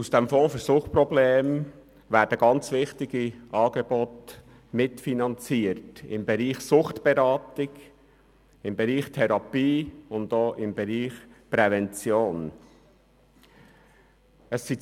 Aus dem Fonds für Suchtprobleme werden sehr wichtige Angebote in den Bereichen Suchtberatung, Therapie und Prävention mitfinanziert.